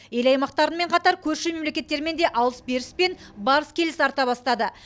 ел аймақтарымен қатар көрші мемлекеттермен де алыс беріс пен барыс келіс арта бастады